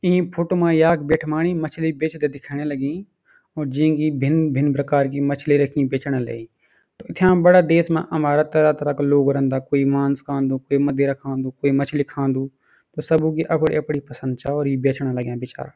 ई photo मा याख बिठ्मानी मछली बेचदा दिखेण लगी और जीकी भिन्न भिन्न प्रकार की मछली रखी बेचणा लयी इथा बड़ा देश मा हमारा तरह तरह का लोग रेहन्दा कुई मांस खान्दू कुई मदिरा खान्दू कुई मछली खान्दू सबू की अपनी अपनी पसंद छा और ये बेचणा लग्यां बेचारा।